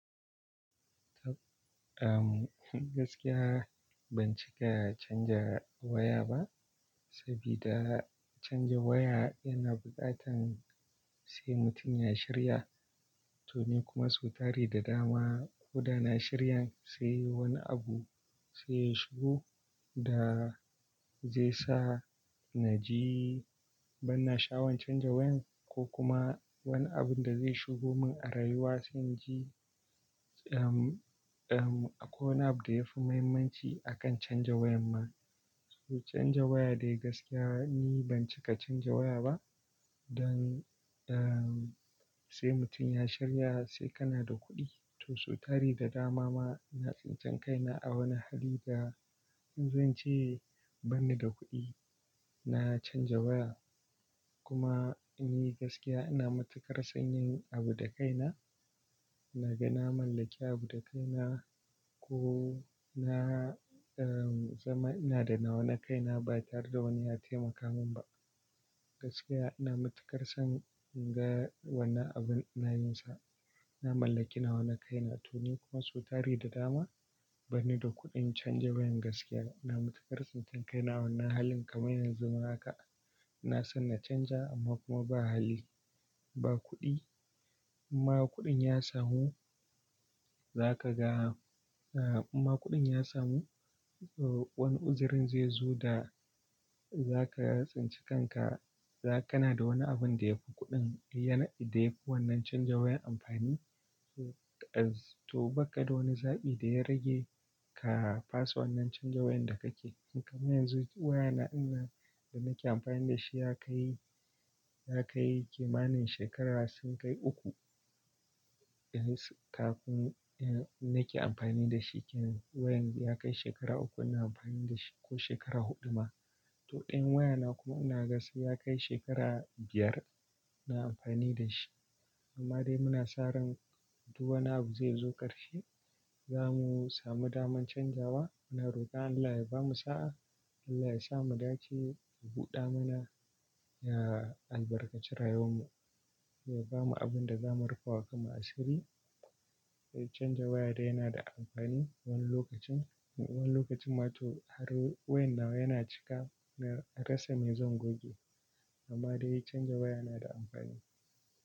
Taɓ, am, gaskiya ban cika canja waya ba, sabida canja waya yana bukatan sai mutum ya shirya. To ni kuma sau tari da dama ko da na shirya sai wani abu sai ya shigo da zai sa na ji ban na sha'awan canja wayan ko kuma wani abun da zai shigo mun a rayuwa sai na ji, am, am, akwai abu da yafi muhimmanci akan canja wayan ma. To canja waya dai gaskiya ni ban cika canja waya ba, don, don sai mutum ya shirya sai kana da kuɗi. To su tari da dama ma na tsintsan kaina a wani hali da in zan ce bani da kuɗi, na canja waya. Kuma ni gaskiya ina matukar son yin abu da kaina. Na ga na mallaki abu da kaina ko na, am, zama ina da na wane kaina ba tare da wani ya taimaka mun ba. Gaskiya ina matukar son inga wannan abun ina yin sa. Na mallaki na wane kaina. To ni kuma su tari da dama bani da kuɗin canja wayan gaskiya. Ina matukar tsintsn kaina a wani halin kamar yanzu haka. Na so na canja amma kuma ba hali, ba kuɗi. Imma kuɗin ya samu za ka ga, am, imma kuɗin ya samu, wani uzirin zai zo da za ka tsincikanka. Za kana da wani abun da yafi kuɗin, da yafi wannan canja wayan amfani. To, to bakka da wani zaɓi da ya rage ka fasa wannan canja wayan da kake. Kamar yanzu waya na ina da nake amfani da shi ya kai, ya kai kimanin shekaru sun kai uku. Kafun, da nake amfani da shi kenan wayan ya kai shekara uku ina amfani da shi ko shekara huɗu ma. To ɗayan waya na kuma ina ga sai ya kai shekara biyar ina amfani da shi. Amma dai muna sa ran duk wani abu zai zo karshe. Za mu samu daman canjawa. Muna rokon Allah ya bamu sa'a, Allah ya sa mu dace, ya buɗa mana, ya albarkaci rayuwar mu, ya bamu abinda za mu rufa wa kamar asiri. Canja waya dai yana da amfani wani lokacin, wani lokacin ma to har wayan nawa yana cika na rasa mai zan goge. Amma dai canja waya na da amfani.